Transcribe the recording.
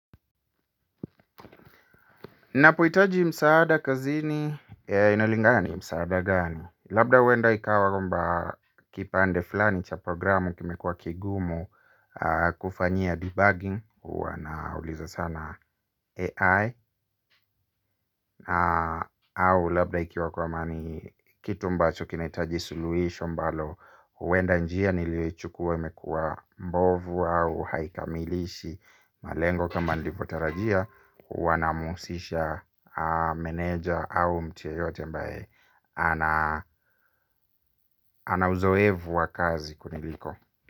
Napoitaji msaada kazini, inalingana ni msaada gani? Labda huenda ikawa kwamba kipande fulani cha programu kimekuwa kigumu kufanyia debugging, huwa nauliza sana AI, au labda ikiwa kwamba ni kitu ambacho kinahitaji suluhisho ambalo huenda njia niliyoichukua imekuwa mbovu au haikamilishi malengo kama nilivotarajia, huwa namhusisha meneja au mtu yeyote ambaye ana uzoevu wa kazi kuniliko.